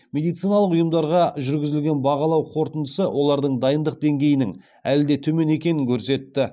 медициналық ұйымдарға жүргізілген бағалау қорытындысы олардың дайындық деңгейінің әлі де төмен екенін көрсетті